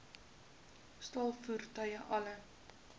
staal voertuie alle